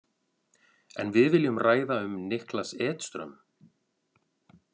En við viljum ræða um Niklas Edström.